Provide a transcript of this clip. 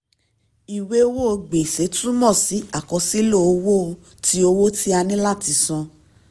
ìwé owó gbèsè túmọ̀ sí àkọsílẹ̀ owó tí owó tí a ní láti san.